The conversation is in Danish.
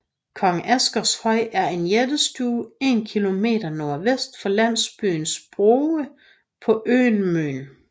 Kong Asgers Høj er en jættestue 1 km nordvest for landsbyen Sprove på øen Møn